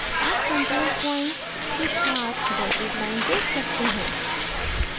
आप control point के साथ dotted line देख सकते हैं